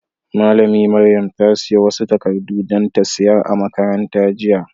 Malami Maryam ta siya wasu takadu dan ta sayar a'makaranta jiya.